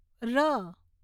ર